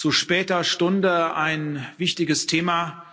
Zu später Stunde ein wichtiges Thema.